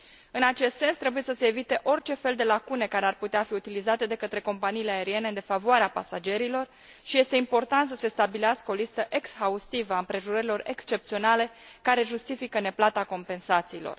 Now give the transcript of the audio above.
În acest sens, trebuie să se evite orice fel de lacune care ar putea fi utilizate de către companiile aeriene în defavoarea pasagerilor și este important să se stabilească o listă exhaustivă a împrejurărilor excepționale care justifică neplata compensațiilor.